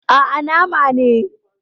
Aa, Nama ne